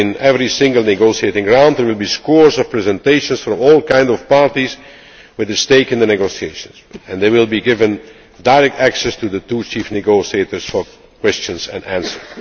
As in every single negotiating round, there will be scores of presentations from all kinds of parties with a stake in the negotiations and they will be given direct access to the two chief negotiators for questions and answers.